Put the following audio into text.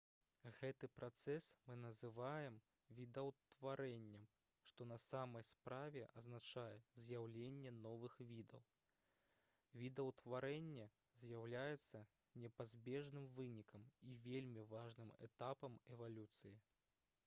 гэты працэс мы называем відаўтварэннем што на самай справе азначае з'яўленне новых відаў відаўтварэнне з'яўляецца непазбежным вынікам і вельмі важным этапам эвалюцыі